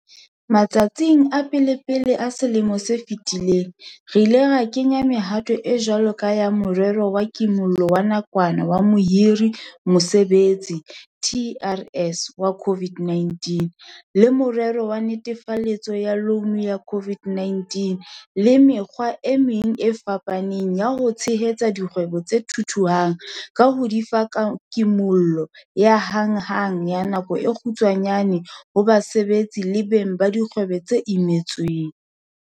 Matsatsing a pelepele a selemo se fetileng, re ile ra kenya mehato e jwalo ka ya Morero wa Kimollo wa Nakwana wa Mohiri-Mosebetsi, TERS, wa COVID-19, le Morero wa Netefaletso ya Loune ya COVID-19 le mekgwa e meng e fapaneng ya ho tshehetsa dikgwebo tse thuthuhang ka ho di fa kimollo ya hanghang ya nako e kgutshwanyane ho basebetsi le beng ba dikgwebo ba imetsweng.